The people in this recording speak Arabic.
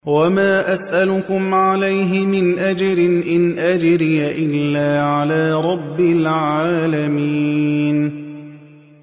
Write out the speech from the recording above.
وَمَا أَسْأَلُكُمْ عَلَيْهِ مِنْ أَجْرٍ ۖ إِنْ أَجْرِيَ إِلَّا عَلَىٰ رَبِّ الْعَالَمِينَ